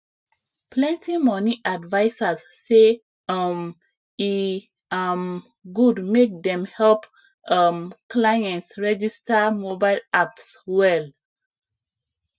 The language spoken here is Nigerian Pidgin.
plenty money advisers say um e um good make dem help um clients register mobile apps well